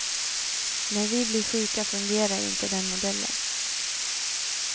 När vi blir sjuka fungerar inte den modellen.